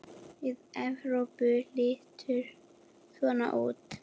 Lið Evrópu lítur svona út